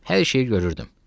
Hər şeyi görürdüm.